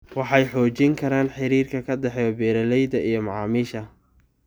Waxay xoojin karaan xiriirka ka dhexeeya beeralayda iyo macaamiisha.